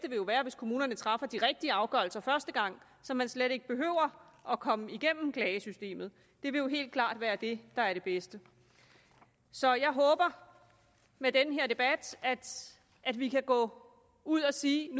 jo være hvis kommunerne traf de rigtige afgørelser første gang så man slet ikke behøver at komme igennem klagesystemet det vil jo helt klart være det der er det bedste så jeg håber med den her debat at vi kan gå ud og sige